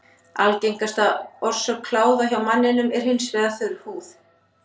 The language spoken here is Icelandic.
Algengasta orsök kláða hjá manninum er hins vegar þurr húð.